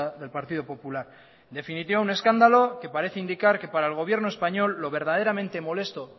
del partido popular en definitiva un escándalo que parece indicar que para el gobierno español lo verdaderamente molesto